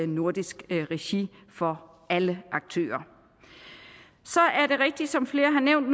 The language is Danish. nordisk regi for alle aktører så er det rigtigt som flere har nævnt